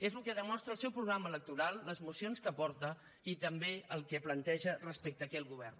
és el que demostra el seu programa electoral les mocions que aporta i també el que planteja respecte aquí al govern